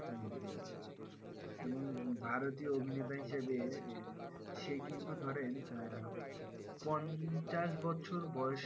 হম হম এবং ভারতীয় অভিনেতা হিসাবে সে কিন্তু ধরেন আহ পঞ্চাশ বছর বয়সেও,